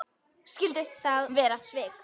Skyldu það vera svik?